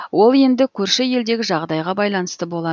ол енді көрші елдегі жағдайға байланысты болад